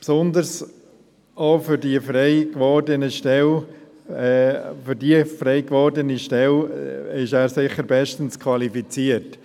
Besonders für die frei gewordene Stelle ist er sicher bestens qualifiziert.